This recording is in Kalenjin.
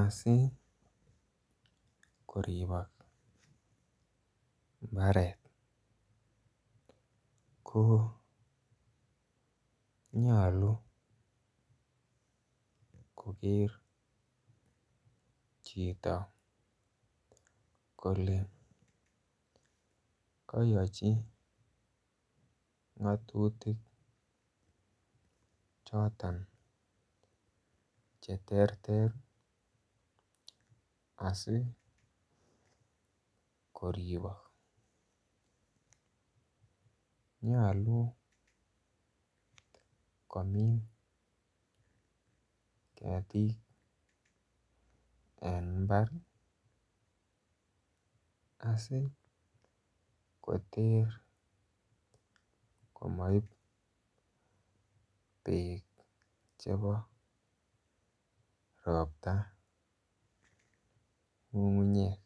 Asi koribok mbaret ko nyolu koger chito kole kayochi ngatutik Choton Che terter asi koribok nyolu komin ketik en mbar asi koter komoib bek chebo ropta ngungunyek